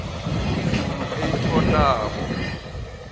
izulu elithontabo